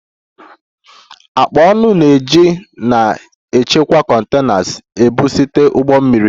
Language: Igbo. Akpa ọnụ na-eji na-echekwa containers ebu site ụgbọ mmiri